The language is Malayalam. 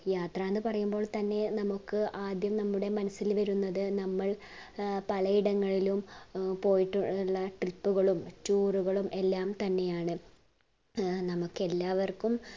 യാത്ര എന്ന് പറയുമ്പോൾ തന്നെ നമ്മുക് ആദ്യം നമ്മുടെ മനസ്സിൽ വരുന്നത് നമ്മൾ അഹ് പലയിടങ്ങളിലും ഏർ പോയിട്ടുള്ള trip ഉകളും tour ഉകളും എല്ലാം തന്നെയാണ് ഏർ നമ്മുക് എല്ലാവര്ക്കും